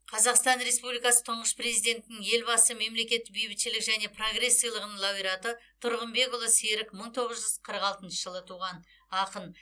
қазақстан республикасы тұңғыш президентінің елбасының мемлекеттік бейбітшілік және прогресс сыйлығының лауреаты тұрғынбекұлы серік мың тоғыз жүз қырық алтыншы жылы туған ақын